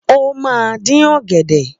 Ó máa dín ọ̀gẹ̀dẹ̀